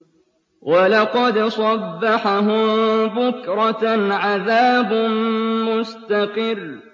وَلَقَدْ صَبَّحَهُم بُكْرَةً عَذَابٌ مُّسْتَقِرٌّ